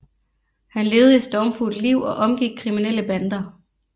Han levede et stormfuldt liv og omgik kriminelle bander